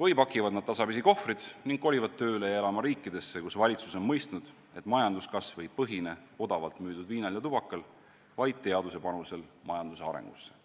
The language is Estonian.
või pakivad nad tasapisi kohvreid ning kolivad tööle ja elama riikidesse, kus valitsus on mõistnud, et majanduskasv ei põhine odavalt müüdud viinal ja tubakal, vaid teaduse panusel majanduse arengusse?